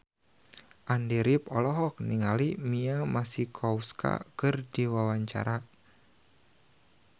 Andy rif olohok ningali Mia Masikowska keur diwawancara